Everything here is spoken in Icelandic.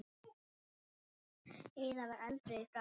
Heiða var eldrauð í framan.